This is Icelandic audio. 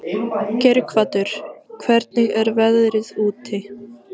Geirhvatur, hvernig er veðrið úti?